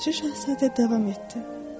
Balaca Şahzadə davam etdi.